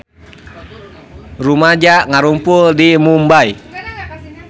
Rumaja ngarumpul di Mumbay